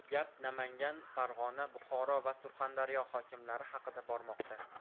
Gap Namangan, Farg‘ona, Buxoro va Surxondaryo hokimlari haqida bormoqda.